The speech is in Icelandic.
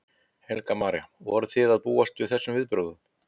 Helga María: Og voruð þið að búast við þessum viðbrögðum?